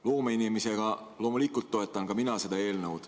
Loomeinimesena loomulikult toetan ka mina seda eelnõu.